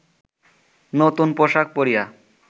নূতন পোশাক পরিয়া